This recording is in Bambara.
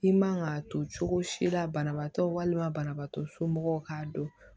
I man ka to cogo si la banabaatɔ walima banabagatɔ somɔgɔw k'a dɔn